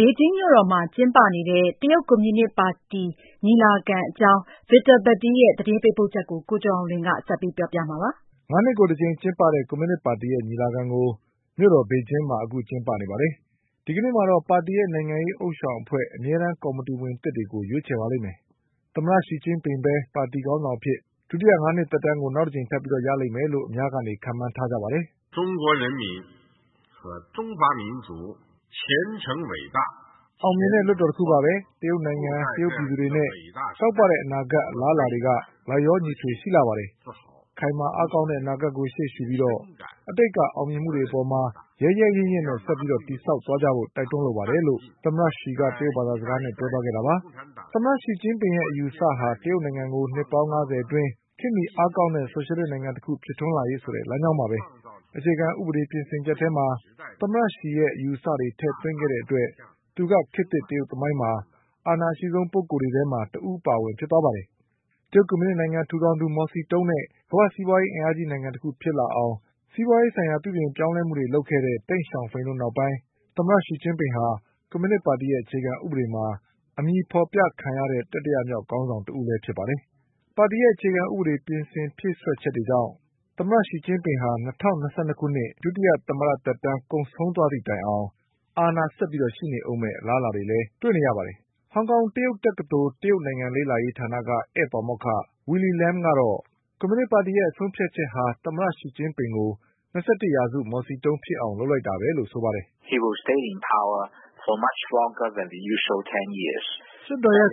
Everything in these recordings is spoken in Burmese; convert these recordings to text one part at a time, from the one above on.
ဘေဂျင်းမြို့တော်မှာ ကျင်းပနေပါတယ်။ ဒီကနေ့မှာတော့ ပါတီရဲ့နိုင်ငံရေး ဥသျှောင်အဖွဲ့ အမြဲတမ်း ကော်မတီဝင်သစ်တွေကို ရွေးချယ်ပါလိမ့်မယ်။ သမ္မတ Xi ပဲ ပါတီ ခေါင်း ဆောင်အဖြစ် ဒုတိယ ၅ နှစ် သက်တမ်းကို နောက်တကြိမ်ထပ်ပြီး ရလိမ့်မယ်လို့ ခန့်မှန်းထားကြပါတယ်။ “ အောင်မြင်တဲ့ လွှတ်တော်တခုပါပဲ။ တရုတ်နိုင်ငံ၊ တရုတ်ပြည်သူတွေနဲ့တောက်ပတဲ့ အနာဂတ်နဲ့အလားအလာတွေက လိုက်လျောညီထွေ ရှိနေပါတယ်။ ခိုင်မာအားကောင်းတဲ့ အနာဂတ်ကို ရှေ့ရှုပြီး အတိတ်က အောင်မြင်မှုတွေပေါ်မှာ ရဲရဲရင့်ရင့်နဲ့ ဆက်ပြီး တည်ဆောက်သွားကြဖို့ တိုက်တွန်းလိုပါတယ်လို့တရုတ်သမ္မတ ရှီကျင်းပင် ပြောသွားခဲ့တာပါ။ ” သမ္မတရှီကျင်းပင်ရဲ့ အယူအဆက တရုတ်နိုင်ငံကို နှစ်ပေါင်း ၅၀ အတွင်း ခေတ်မီအားကောင်းတဲ့ ဆိုရှယ်လစ် နိုင်ငံတခုဖြစ် ထွန်းလာရေး ဆိုတဲ့ လမ်းကြောင်းပါပဲ။ အခြေခံဥပဒေ ပြင်ဆင်ချက်ထဲမှာ သမ္မတ Xi ရဲ့ အယူအဆတွေ ထည့်သွင်းခဲ့တဲ့ အတွက် သူက ခေတ်သစ် တရုတ်သမိုင်းမှာ အာဏာ အရှိဆုံး ပုဂ္ဂိုလ်တွေထဲမှာ တဦးအပါအဝင် ဖြစ်သွားပါတယ်။ ကွန်မြူနစ် တရုတ်နိုင်ငံ ထူထောင်သူ မော်စီတုန်းနဲ့ ကမ္ဘာ့စီးပွားရေး အင်အားကြီး နိုင်ငံတခု ဖြစ်လာအောင် စီးပွားရေး ပြုပြင်ပြောင်းလဲမှုတွေ လုပ်ခဲ့တဲ့ တိန့်ရှောင်ဖိန်တို့ နောက်ပိုင်း သမ္မတ Xi ဟာ ကွန်မြူနစ်ပါတီရဲ့အခြေခံ ဥပဒေ မှာ အမည်ဖော်ပြခံရတဲ့ တတိယမြောက် ခေါင်းဆောင် တဦးလည်း ဖြစ်ပါတယ်။ ပါတီရဲ့ အခြေခံ ဥပဒေ ပြင်ဆင် ဖြည့်စွက် ချက်ကြောင့် သမ္မတ Xi ဟာ ၂၀၂၂ ခုနှစ် ဒုတိယ သမ္မတသက်တမ်း ကုန်ဆုံးသွားသည့် တိုင်အောင် အာဏာဆက်ပြီး ရှိနေဦးမယ့် အလားအလာတွေလည်း ရှိနေပါတယ်။ ဟောင်ကောင် တရုတ်တက္ကသိုလ် တရုတ်နိုင်ငံ လေ့လာရေးဌာနက ဧည့်ပါမောက္ခ Willy Lamကတော့ ကွန်မြူနစ်ပါတီရဲ့ ဆုံးဖြတ်ချက်ဟာ သမ္မတရှီကျင်းပင်ကို ၂၁ရာစုရဲ့ မော်စီတုန်းဖြစ် အောင် လုပ်လိုက်တာပဲလို့ ဆိုပါတယ်။ “ လွှတ်တော်ရဲ့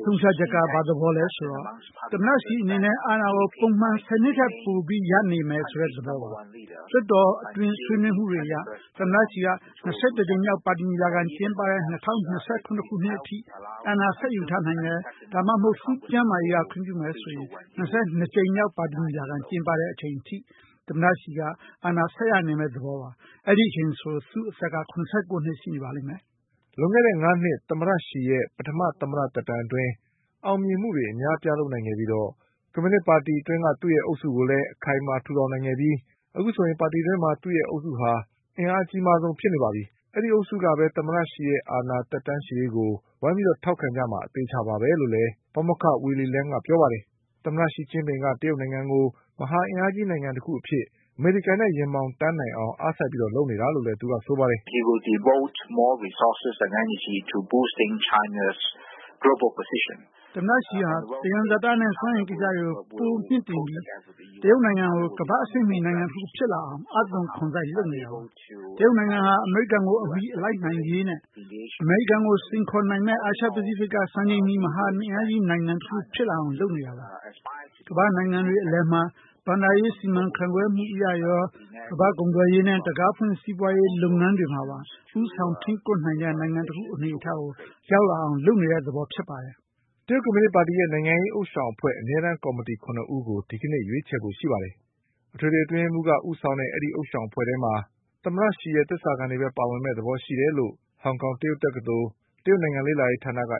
ဆုံးဖြတ်ချက်က ဘာသဘောလဲဆိုတော့ သမ္မတရှီအနေနဲ့ အာဏာကို ပုံမှန်၁၀နှစ်ထက်ပိုပြီးရနေမယ် ဆိုတဲ့သဘောပါ။ လွှတ်တော်အတွင်းဆွေးနွေးမှုတွေအရ သမ္မတရှီက ၂၁ကြိမ်မြောက်ပါတီညီလာခံကျင်းပတဲ့ ၂၀၂၇ခု နှစ်အထိအာဏာဆက်ယူထားနိုင်တယ်။ ဒါမှမဟုတ် သူ့ကျန်းမာရေးကခွင့်ပြုမယ်ဆိုရင် ၂၂ကြိမ်မြောက်ပါတီညီလာခံ ကျင်းပတဲ့ အချိန်အထိ သမ္မတရှီက အာဏာဆက်ရနေမယ့် သဘောပါ။ အဲဒီအချိန်ဆို သူ့အသက်က ၇၉နှစ် ရှိနေမှာပါ။ ” လွန်ခဲ့တဲ့ ၅ နှစ် သမ္မတရှီရဲ့ ပထမ သမ္မတသက်တမ်းအတွင်း အောင်မြင်မှုတွေ အများအပြား လုပ်နိုင်ခဲ့ပြီး ကွန်မြူနစ်ပါတီ အတွင်း သူ့ရဲ့အုပ်စုကိုလည်း အခိုင်အမာ ထူထောင်နိုင်ခဲ့ပြီး အခုဆိုရင် ပါတီအတွင်း သူ့ရဲ့အုပ်စုက အကြီးမားဆုံး ဖြစ်နေပါ ပြီ။ ဒီအုပ်စုကပဲ သူ့ရဲ့အာဏာ သက်တမ်းရှည်ရေးကို ဝိုင်းပြီး ထောက်ခံကြမှာ အသေအချာပါပဲလို့လည်း ပါမောက္ခ Willy Lamကပြောပါတယ်။ သမ္မရှီကျင်းပင်က တရုတ်နိုင်ငံကို မဟာအင်အားကြီး နိုင်ငံတခုအဖြစ် အမေရိကန်နဲ့ ရင်ဘောင်တန်း နိုင်အောင် အားစိုက်ပြီး လုပ်နေတာလို့လည်း ဆိုပါတယ်။ “ သမ္မတရှီက သံယံဇာတနဲ့ စွမ်းအင်ကိစ္စတွေကို ပိုမြှင့်တင်ပြီး တရုတ်နိုင်ငံကို ကမ္ဘာ့အဆင့်မီ နိုင်ငံတခုဖြစ်လာအောင် အား သွန်ခွန်စိုက် လုပ်နေတာပါ။ တရုတ်နိုင်ငံဟာ အမေရိကန်ကို အမီလိုက်နိုင်ရေးနဲ့ အမေရိကန်ကို စိန်ခေါ်နိုင်မယ့် အာရှပစိဖိတ်က စံချိန်မီ မဟာအင်အားကြီး နိုင်ငံတခု ဖြစ်လာအောင် လုပ်နေတာပါ။ ကမ္ဘာ့နိုင်ငံတွေ အလယ်မှာ ဘဏ္ဍာရေး စီမန်ခန့်ခွဲ မှုအရရော၊ ကမ္ဘာ့ကုန်သွယ်ရေးနဲ့ တံခါးဖွင့် စီးပွါးရေး လုပ်ငန်းတွေမှာပါ ဦးဆောင်ထိန်းကွပ်နိုင်တဲ့ နိုင်ငံတခု အနေအထားကို ရောက်လာအောင်လုပ်နေတဲ့သဘောပါပဲ။ ” တရုတ်ကွန်မြူနစ်ပါတီရဲ့ နိုင်ငံရေး ဥသျှောင်အဖွဲ့ အမြဲတမ်း ကော်မီတီ ၇ ဦးကို ဒီကနေ့ ရွေးချယ်ပါလိမ့်မယ်။ အထွေထွေ အတွင်းရေးမှုးက ဦးဆောင်တဲ့ အဲဒီဥသျှောင်အဖွဲ့ထဲမှာ သမ္မတရှီရဲ့ သစ္စာခံတွေပဲ ပါဝင်မယ့်သဘော ရှိတယ်လို့ဟောင်ကောင် တရုတ်တက္ကသိုလ် တရုတ်နိုင်ငံလေ့လာရေးဌာနက